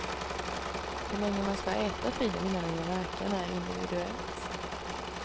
Hur länge man ska äta filen innan den gör verkan är individuellt.